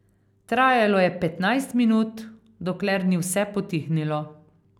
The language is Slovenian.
Trajalo je petnajst minut, dokler ni vse potihnilo...